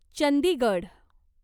Chandigarh